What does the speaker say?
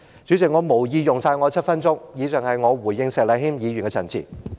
主席，我無意用盡7分鐘的發言時間，以上是我回應石禮謙議員的陳辭。